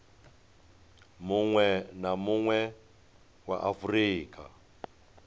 munwe na munwe wa afurika